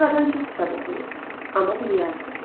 Ağ adam çox kitab oxuyur, amma bil azdı.